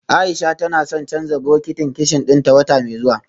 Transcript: Aisha tana son canja bokitin kicin dinta wata mai zuwa